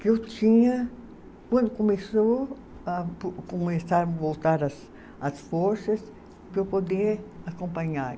que eu tinha, quando começou a, a começar voltar as as forças, para eu poder acompanhar.